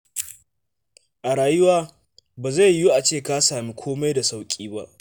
A rayuwa, ba zai yiwu a ce ka sami kome da sauƙi ba.